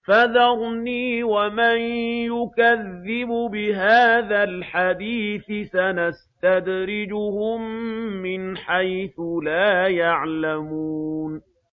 فَذَرْنِي وَمَن يُكَذِّبُ بِهَٰذَا الْحَدِيثِ ۖ سَنَسْتَدْرِجُهُم مِّنْ حَيْثُ لَا يَعْلَمُونَ